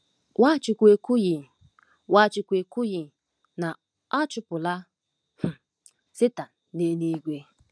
Nwachukwu ekwughị Nwachukwu ekwughị na a chụpụla um Setan n'eluigwe.